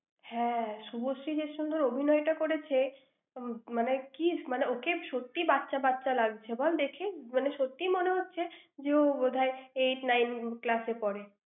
হ্যাঁ। শুভশ্রী যে সুন্দর অভিনয়টা করেছে, মান~ মানে কি মানে ওকে সত্যিই বাচ্চা বাচ্চা লাগছে বল দেখে, মানে সত্যিই মনে হচ্ছে যে ও বোধহয় eight, nine, class এ পড়ে।